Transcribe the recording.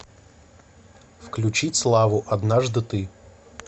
включить славу однажды ты